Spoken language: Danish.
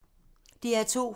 DR2